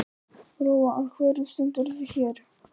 Lóa: Af hverju stendurðu hér?